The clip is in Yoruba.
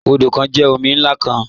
Odo kan jẹ omi nlá kan.